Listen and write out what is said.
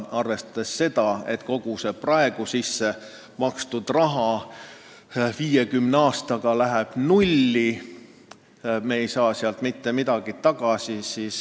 Arvestades sedagi, et kogu see praegu sisse makstud summa sulab 50 aastaga nullini, on selge, et me ei saa sealt mitte midagi tagasi.